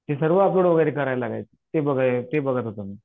ते सर्व वगैरे करावं लागायचं ते ते बघत होतो मी.